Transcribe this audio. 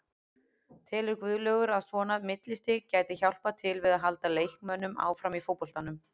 Telur Guðlaugur að svona millistig gæti hjálpað til við að halda leikmönnum áfram í fótboltanum?